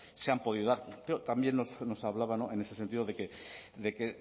se han podido dar pero también nos hablaba en ese sentido de que